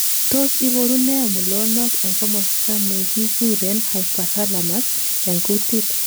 Tos iboru nee mulonok en komosto nekikuren hypothalamus en kuntit?